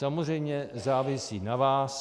Samozřejmě závisí na vás.